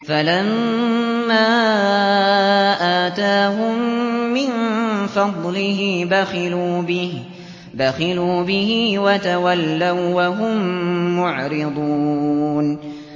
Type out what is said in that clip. فَلَمَّا آتَاهُم مِّن فَضْلِهِ بَخِلُوا بِهِ وَتَوَلَّوا وَّهُم مُّعْرِضُونَ